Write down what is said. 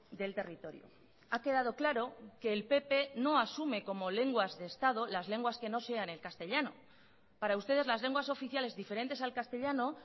del territorio ha quedado claro que el pp no asume como lenguas de estado las lenguas que no sean el castellano para ustedes las lenguas oficiales diferentes al castellano